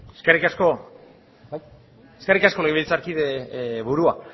eskerrik asko eskerrik asko legebiltzarkide burua